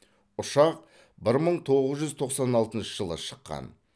ұшақ бір мың тоғыз жүз тоқсан алтыншы жылы шыққан